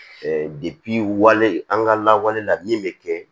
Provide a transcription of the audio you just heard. wale an ka lawale la min bɛ kɛ